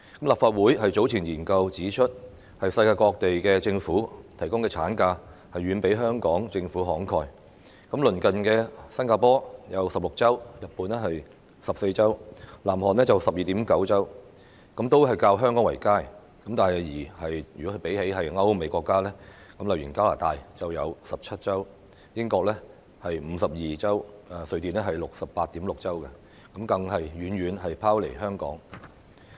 立法會早前的研究指出，世界各地政府提供的產假遠比香港政府慷慨，例如鄰近的新加坡有16周、日本14周及南韓 12.9 周，均較香港為佳；但比起歐美國家如加拿大的17周、英國52周及瑞典 68.6 周，更遠遠拋離香港。